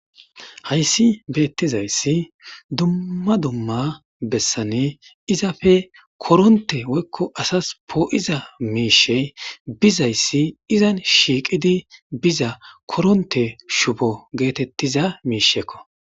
hayssi beettizayssi dumma dumma bessane izafe koronte woykko asas poo7iza miishey bizayssi izan shiiqidi biza koronte shubo geetettiza miishekko